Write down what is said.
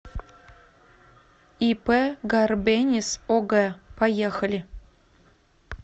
ип гарбенис ог поехали